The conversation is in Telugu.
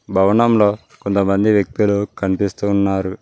భవనంలో కొంతమంది వ్యక్తులు కనిపిస్తు ఉన్నారు.